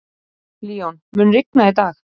Leon, mun rigna í dag?